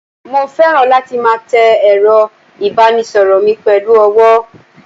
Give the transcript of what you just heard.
mo feran latí ma té erò ibanísoro mí pelu ọwọ